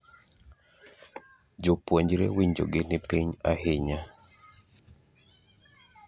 esumnd tnd Si tekaunti e tamthilia ‘kigogo’ which lapses in 2021 will be replaced by ‘si shwari.